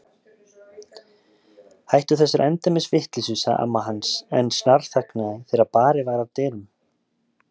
Hættu þessari endemis vitleysu sagði amma hans en snarþagnaði þegar barið var að dyrum.